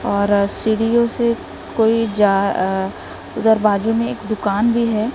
और सीढ़ीओ से कोई जा आ इधर बाजू में एक दुकान भी हैं।